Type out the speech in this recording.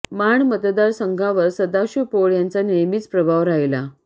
माण मतदार संघावर सदाशिव पोळ यांचा नेहमीच प्रभाव राहिला